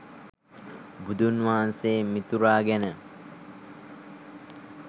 බුදුන් වහන්සේ මිතුරා ගැන